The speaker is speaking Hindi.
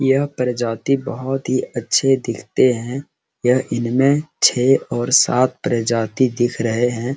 यह प्रजाति बहुत ही अच्छे दिखते हैं ये इनमे छे और सात प्रजाति दिख रहे हैं ।